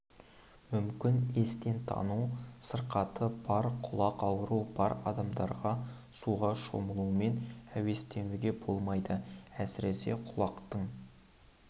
мүмкін естен тану сырқаты бар құлақ ауруы бар адамдарға суға шомылумен әуестенуге болмайды әсіресе құлақтың